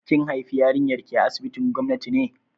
Kin haifi yarinyar ki a asibitin gwamnati ne?